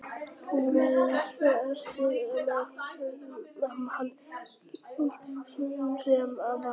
Nú var haldið vestur með suðurströndinni með annað ræningjaskip í slagtogi sem nýkomið var.